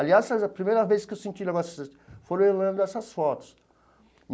Aliás, a primeira vez que eu senti um negócio foi olhando essas fotos.